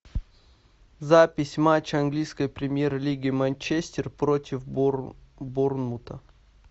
запись матча английской премьер лиги манчестер против борнмута